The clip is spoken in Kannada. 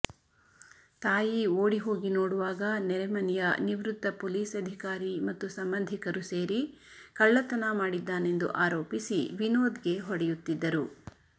ತಾಯಿ ಓಡಿಹೋಗಿ ನೋಡುವಾಗ ನೆರೆಮನೆಯ ನಿವೃತ್ತ ಪೊಲೀಸ್ ಅಧಿಕಾರಿ ಮತ್ತು ಸಂಬಂಧಿಕರು ಸೇರಿ ಕಳ್ಳತನ ಮಾಡಿದ್ದಾನೆಂದು ಆರೋಪಿಸಿ ವಿನೋದ್ಗೆ ಹೊಡೆಯುತ್ತಿದ್ದರು